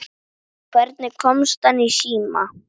Hvernig hann komst í síma.